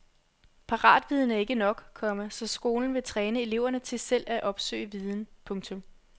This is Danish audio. Paratviden er ikke nok, komma så skolen vil træne eleverne til selv at opsøge viden. punktum